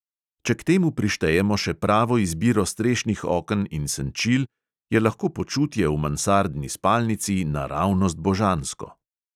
Če k temu prištejemo še pravo izbiro strešnih oken in senčil, je lahko počutje v mansardni spalnici naravnost božansko.